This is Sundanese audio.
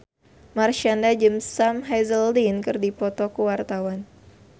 Marshanda jeung Sam Hazeldine keur dipoto ku wartawan